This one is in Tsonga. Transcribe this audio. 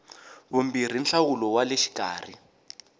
vumbirhi nhlawulo wa le xikarhi